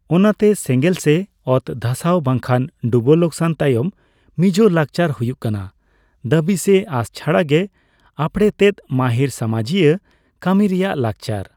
ᱚᱱᱟᱛᱮ, ᱥᱮᱸᱜᱮᱸᱞ ᱥᱮ ᱚᱛᱫᱷᱟᱥᱟᱣ ᱵᱟᱝᱠᱷᱟᱱ ᱰᱩᱵᱟᱹ ᱞᱚᱠᱥᱟᱱ ᱛᱟᱭᱚᱢ ᱢᱤᱡᱳ ᱞᱟᱠᱪᱟᱨ ᱦᱩᱭᱩᱜ ᱠᱟᱱᱟ ᱫᱟᱹᱵᱤ ᱥᱮ ᱟᱸᱥ ᱪᱷᱟᱰᱟ ᱜᱮ ᱟᱸᱯᱲᱮᱛᱮᱛ ᱢᱟᱹᱦᱤᱨ ᱥᱟᱢᱟᱡᱤᱭᱟᱹ ᱠᱟᱹᱢᱤ ᱨᱮᱭᱟᱜ ᱞᱟᱠᱪᱟᱨ ᱾